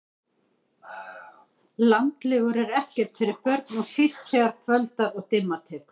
Landlegur eru ekkert fyrir börn og síst þegar kvöldar og dimma tekur